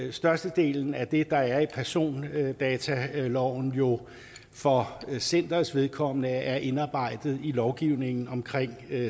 at størstedelen af det der er i persondataloven jo for centerets vedkommende er indarbejdet i lovgivningen omkring